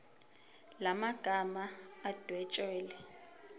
la magama adwetshelwe